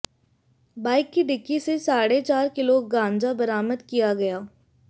bike की dickey से साढ़े चार किलो गांजा बरामद किया गया है